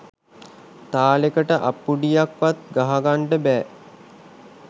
තාලෙකට අත්පුඩියක්වත් ගහගන්න බෑ